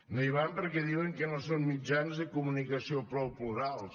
no hi van perquè diuen que no són mitjans de comunicació prou plurals